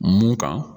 Mun kan